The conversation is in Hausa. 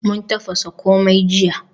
Mun tafasa komai jiya.